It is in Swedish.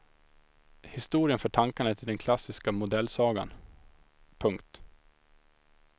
Historien för tankarna till den klassiska modellsagan. punkt